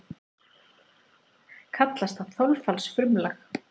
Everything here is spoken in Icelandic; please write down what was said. Kallast það þolfallsfrumlag.